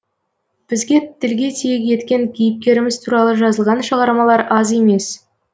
біз тілге тиек еткен кейіпкеріміз туралы жазылған шығармалар аз емес